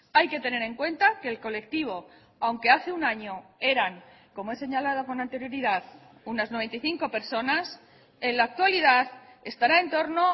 hay que tener en cuenta que el colectivo aunque hace un año eran como he señalado con anterioridad unas noventa y cinco personas en la actualidad estará en torno